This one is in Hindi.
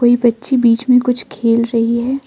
वे बच्चे बीच में कुछ खेल रही है।